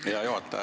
Hea juhataja!